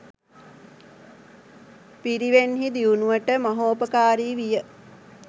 පිරිවෙන්හි දියුණුවට මහෝපකාරි විය.